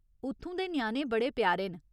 उत्थूं दे ञ्याणे बड़े प्यारे न।